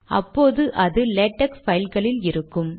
அப்போது அது லேடக் பைல்களில் இருக்கும்